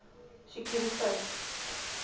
sekuriteit